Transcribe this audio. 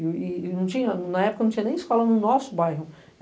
E na época não tinha nem escola no nosso bairro.